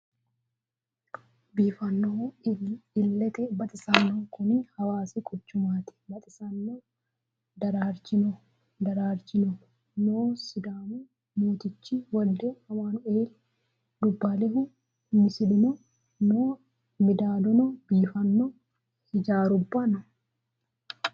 Biiffanohuna ilette baxisanohu Kuni hawaassi quchummati baxxisanno darrarichino noo sidaamu moottichi wolide amanueli dubbalehu missileno noo middadonni biifano hiijjarrubbano noo